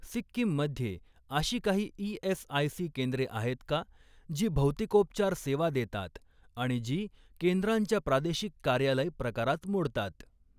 सिक्कीम मध्ये अशी काही ई.एस.आय.सी केंद्रे आहेत का जी भौतिकोपचार सेवा देतात आणि जी केंद्रांच्या प्रादेशिक कार्यालय प्रकारात मोडतात?